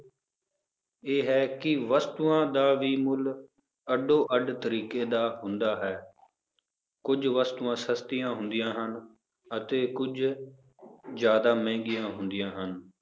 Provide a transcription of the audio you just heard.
ਇਹ ਹੈ ਕਿ ਵਸਤੂਆਂ ਦਾ ਵੀ ਮੁੱਲ ਅੱਡੋ ਅੱਡ ਤਰੀਕੇ ਦਾ ਹੁੰਦਾ ਹੈ ਕੁੱਝ ਵਸਤੂਆਂ ਸਸਤੀਆਂ ਹੁੰਦੀਆਂ ਹਨ, ਅਤੇ ਕੁੱਝ ਜ਼ਿਆਦਾ ਮਹਿੰਗੀਆਂ ਹੁੰਦੀਆਂ ਹਨ